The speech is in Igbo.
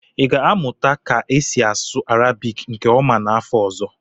ị ga-amụta ka esi asụ Arabiki nke ọma n'afọ ọzọ?